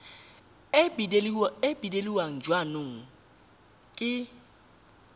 e beilweng ya jaanong ke